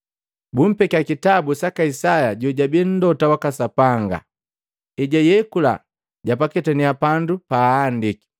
Bumpekya kitabu saka Isaya jojabii Mlota waka Sapanga. Ejayekula, japaketannya pandu paahandiki,